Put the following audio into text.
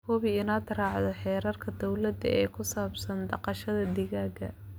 Hubi inaad raacdo xeerarka dawladda ee ku saabsan dhaqashada digaagga.